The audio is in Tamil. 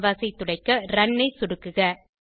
கேன்வாஸ் ஐ துடைக்க ரன் ஐ சொடுக்குக